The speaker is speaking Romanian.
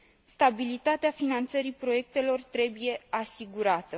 Stabilitatea finanțării proiectelor trebuie asigurată.